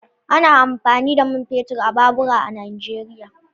Ana amfani da man fetur a babura a Nijeriya.